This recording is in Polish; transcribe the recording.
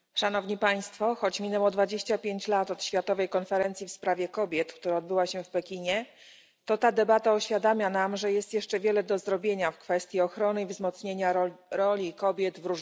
Choć minęło 25 lat od Światowej Konferencji w sprawie kobiet, która odbyła się w Pekinie, to ta debata uświadamia nam, że jest jeszcze wiele do zrobienia w kwestii ochrony i wzmocnienia roli kobiet w różnych obszarach.